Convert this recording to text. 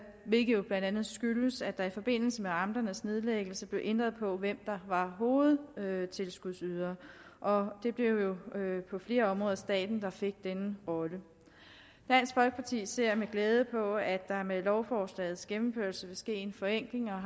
hvilket blandt andet skyldes at der i forbindelse med amternes nedlæggelse blev ændret på hvem der var hovedtilskudsydere og det blev på flere områder staten der fik denne rolle dansk folkeparti ser med glæde på at der med lovforslagets gennemførelse vil ske en forenkling og